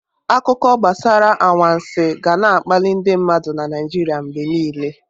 Akụkọ gbasara anwansi ga na-akpalị ndị mmadụ na Naijiria mgbe niile.